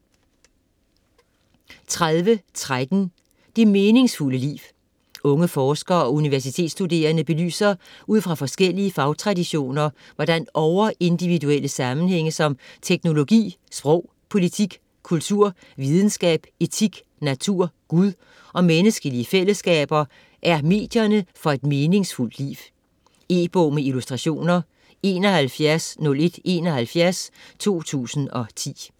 30.13 Det meningsfulde liv Unge forskere og universitetsstuderende belyser ud fra forskellige fagtraditioner, hvordan over-individuelle sammenhænge som teknologi, sprog, politik, kultur, videnskab , etik, natur, Gud og menneskelige fællesskaber er medierne for et meningsfuldt liv. E-bog med illustrationer 710171 2010.